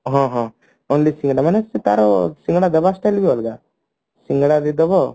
ହଁ ହଁ ଖାଲି ସିଙ୍ଗଡା ମାନେ ସେ ତାର ସିଙ୍ଗଡା ଦବା style ବି ଅଲଗା ସିଙ୍ଗଡା ଦେଇଦେବ